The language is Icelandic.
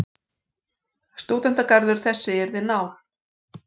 Stúdentagarður þessi yrði nál.